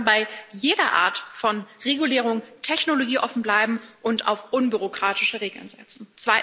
Wir sollten bei jeder Art von Regulierung technologieoffen bleiben und auf unbürokratische Regeln setzen.